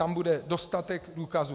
Tam bude dostatek důkazů.